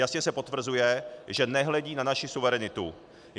Jasně se potvrzuje, že nehledí na naši suverenitu.